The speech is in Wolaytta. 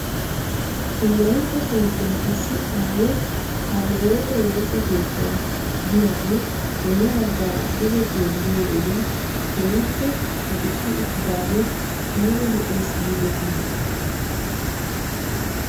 Wolaytta sooddon issi aayo qaaliwote woosa keettay de'iyaagee bolla baggaara duge xeelliyoo wodiyan keehippe aduqqi uttidaagee ayba lo'es giidetii ?